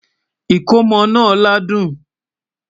ikòmó nà ládùn